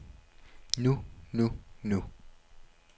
nu nu nu